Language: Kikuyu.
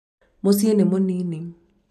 mũciĩ nĩ mũninĩ